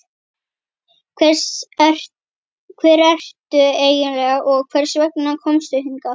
Hver ertu eiginlega og hvers vegna komstu hingað?